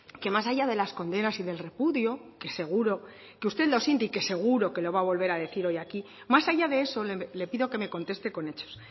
que más allá de las condenas y del repudio que seguro que usted lo siente y que seguro que lo va a volver a decir hoy aquí más allá de eso le pido que me conteste con hechos